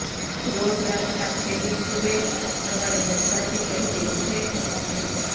રોજ રાતના છેલ્લી સૂવે અને સવારે બધાથી પહેલી ઊઠે એ મમ્મી